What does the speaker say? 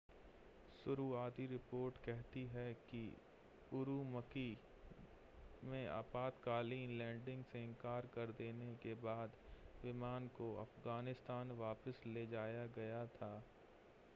शुरुआती रिपोर्ट कहती है कि उरूमकी में आपातकालीन लैंडिंग से इनकार कर देने के बाद विमान को अफ़गानिस्तान वापस ले जाया गया था